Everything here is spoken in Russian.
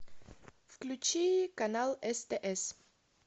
включи канал стс